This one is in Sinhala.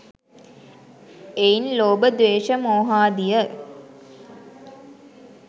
එයින් ලෝභ, ද්වේශ, මෝහාදිය